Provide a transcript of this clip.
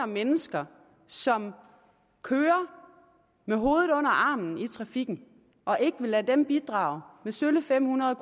mennesker som kører med hovedet under armen i trafikken og ikke vil lade dem bidrage med sølle fem hundrede